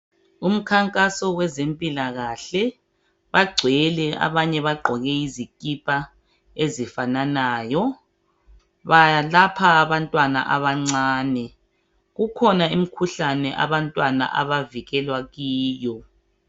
Umkhankaso wezempilakahle bagcwele abanye bagqoke izikipa ezifananayo balapha abantwana abancani kukhonkhuhlane abantwana abavikelwa kiyo.